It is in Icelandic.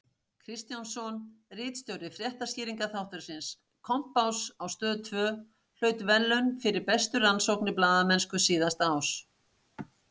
Kristjánsson, ritstjóri fréttaskýringaþáttarins Kompáss á Stöð tvö hlaut verðlaunin fyrir bestu rannsóknarblaðamennsku síðasta árs.